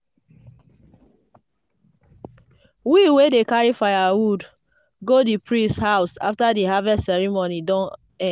we dey carry firewood go di priest house after di harvest ceremony don